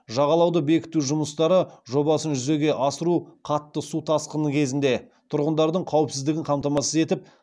жағалауды бекіту жұмыстары жобасын жүзеге асыру қатты су тасқыны кезінде тұрғындардың қауіпсіздігін қамтамасыз етіп